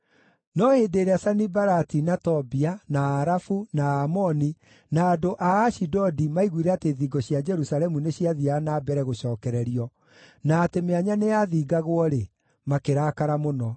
No hĩndĩ ĩrĩa Sanibalati, na Tobia, na Aarabu, na Aamoni, na andũ a Ashidodi maiguire atĩ thingo cia Jerusalemu nĩciathiiaga na mbere gũcookererio na atĩ mĩanya nĩyathingagwo-rĩ, makĩrakara mũno.